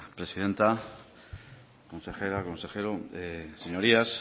presidenta consejera consejero señorías